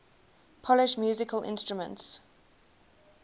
polish musical instruments